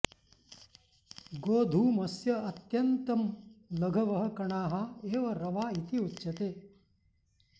गोधूमस्य अत्यन्तं लघवः कणाः एव रवा इति उच्यते